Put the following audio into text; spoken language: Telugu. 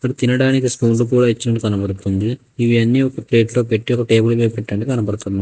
తినడానికి స్పూన్లు కూడ ఇచ్చినట్టు కనబడుతుంది ఇవి అన్ని ఒక ప్లేట్లో పెట్టి ఒక టేబుల్ మీద పెట్టినట్టు కనబడుతుంది.